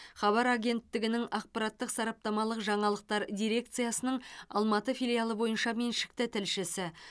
хабар агенттігінің ақпараттық сараптамалық жаңалықтар дирекциясының алматы филиалы бойынша меншікті тілшісі